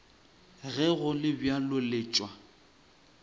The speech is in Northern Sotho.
ge go le bjalo letšwa